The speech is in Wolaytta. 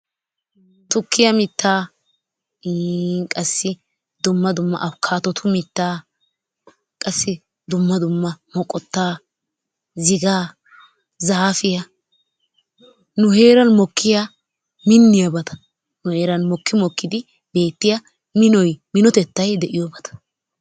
Tukkiya mittaa iini qassi dumma dumma avokaadotu mittaa qassi dumma dumma moqotaa, zigaa, zaafiya nu heeran mokkiya miniyabata nu heeran mokki mokkidi beetiya minoy minotettay de'iyobata.